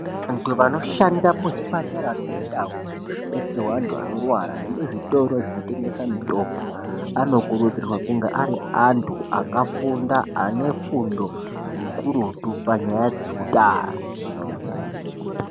Antu vanoshanda muzvipatara nemundau dzinobetserwa antu anorwara nemuzvitoro zvinotengesa mitombo anokuridzirwa kunge ari antu akafunda ane fundo ikurutu panyaya dzehutano.